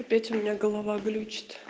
опять у меня голова глючит